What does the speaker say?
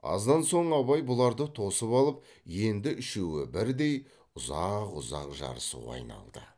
аздан соң абай бұларды тосып алып енді үшеуі бірдей ұзақ ұзақ жарысуға айналды